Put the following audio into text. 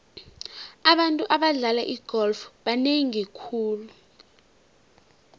abantu abadlala igolf banengi khulu